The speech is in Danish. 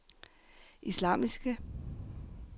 islamiske